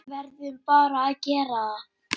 Verðum bara að gera það.